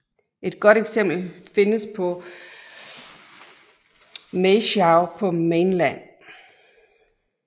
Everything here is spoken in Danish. Et godt eksempel findes på Maeshowe på Mainland